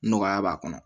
Nɔgɔya b'a kɔnɔ